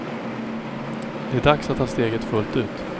Det är dags att ta steget fullt ut.